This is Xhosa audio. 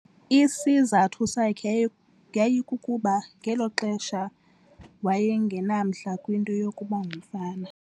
Isizathu sakhe yayi yayikukuba ngelo xesha waye ngenamdla kwinto yokuba ngumfama.